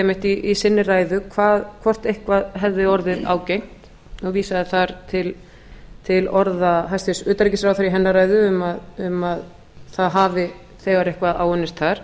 einmitt í sinni ræðu hvort eitthvað hefði orðið ágengt hann vísaði þar til orða hæstvirts utanríkisráðherra í hennar ræðu um að það hafi þegar eitthvað áunnist þar